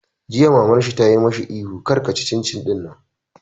Jiya Maman shi ta yi mishi ihu 'kar ka ci cin cin ɗinnan!